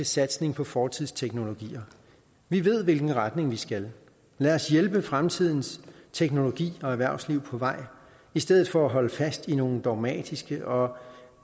satsning på fortidsteknologier vi ved i hvilken retning vi skal lad os hjælpe fremtidens teknologi og erhvervsliv på vej i stedet for at holde fast i nogle dogmatiske og